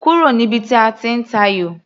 Kúrò níbi tí a ti ń tayò!